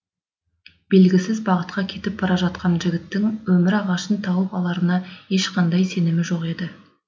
белгісіз бағытқа кетіп бара жатқан жігіттің өмір ағашын тауып аларына ешқандай сенімі жоқ еді